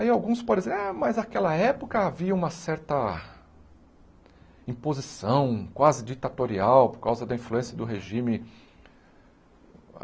Aí alguns podem dizer, ah mas naquela época havia uma certa imposição, quase ditatorial, por causa da influência do regime.